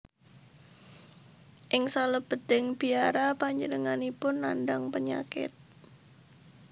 Ing salebeting biara panjenenganipun nandhang penyakit